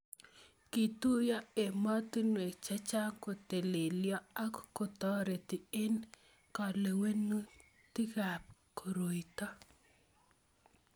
Kituyo emotinwek chechang kotelelyo ak kotoreti eng kewelutikab koroito